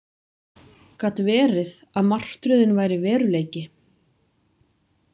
Gat verið að martröðin væri veruleiki?